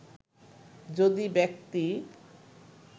যদি ব্যক্তি